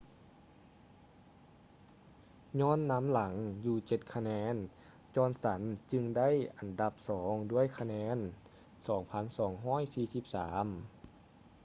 ຍ້ອນນຳຫຼັງຢູ່ເຈັດຄະແນນ ຈອນສັນ johnson ຈຶ່ງໄດ້ອັນດັບສອງດ້ວຍຄະແນນ 2,243